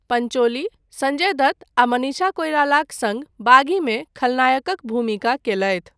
पंचोली संजय दत्त आ मनीषा कोइरालाक सङ्ग 'बागी' मे खलनायकक भूमिका कयलथि।